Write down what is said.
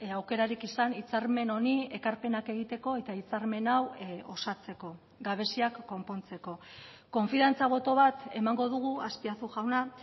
aukerarik izan hitzarmen honi ekarpenak egiteko eta hitzarmen hau osatzeko gabeziak konpontzeko konfiantza boto bat emango dugu azpiazu jauna